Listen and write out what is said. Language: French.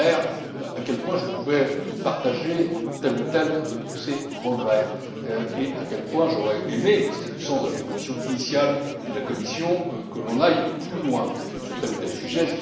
Ferber à quel point je pouvais partager tel ou tel de ses regrets et à quel point j'aurais aimé c'était le sens de la proposition initiale de la Commission que l'on aille plus loin sur tel ou tel sujet.